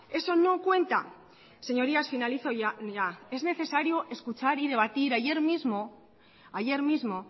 eso no cuenta señorías finalizo ya es necesario escuchar y debatir ayer mismo ayer mismo